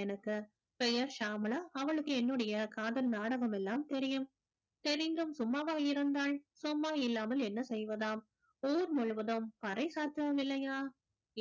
எனக்கு பெயர் சாமளா அவளுக்கு என்னுடைய காதல் நாடகம் எல்லாம் தெரியும் தெரிந்தும் சும்மாவா இருந்தால் சும்மா இல்லாமல் என்ன செய்வதாம் ஊர் முழுவதும் பறை